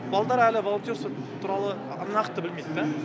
балдар әлі волонтерство туралы нақты білмейді да